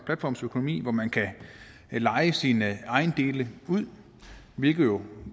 platformsøkonomi hvor man kan leje sine ejendele ud hvilket jo